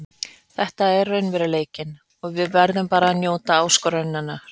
Þetta er raunveruleikinn og við verðum bara að njóta áskorunarinnar.